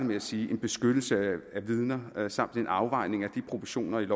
med at sige en beskyttelse af vidner samt en afvejning af proportionerne